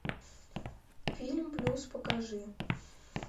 фильм плюс покажи